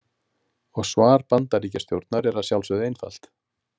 Og svar Bandaríkjastjórnar er að sjálfsögðu einfalt.